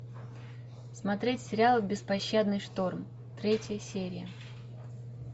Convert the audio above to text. смотреть сериал беспощадный шторм третья серия